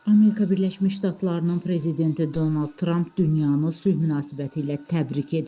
Amerika Birləşmiş Ştatlarının prezidenti Donald Trump dünyanı sülh münasibətilə təbrik edib.